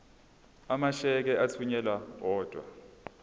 amasheke athunyelwa odwa